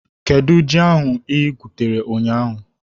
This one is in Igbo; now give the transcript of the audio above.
Kedụ ji ahu anyị gwutere ụnyaahụ?